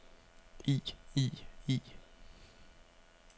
i i i